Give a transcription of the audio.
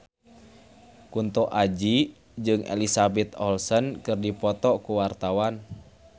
Kunto Aji jeung Elizabeth Olsen keur dipoto ku wartawan